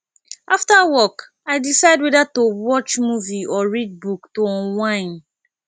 after work i decide whether to watch movie or read book to unwind